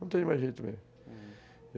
Não tenho mais jeito mesmo, hum